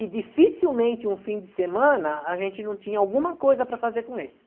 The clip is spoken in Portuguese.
E dificilmente um fim de semana a gente não tinha alguma coisa para fazer com eles.